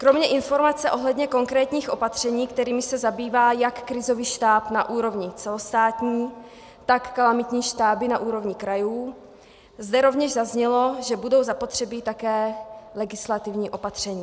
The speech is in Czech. Kromě informace ohledně konkrétních opatření, kterými se zabývá jak krizový štáb na úrovni celostátní, tak kalamitní štáby na úrovni krajů, zde rovněž zaznělo, že budou zapotřebí také legislativní opatření.